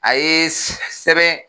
A ye sɛ